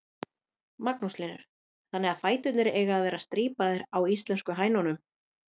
Magnús Hlynur: Þannig fæturnir eiga að vera strípaðar á íslensku hænunum?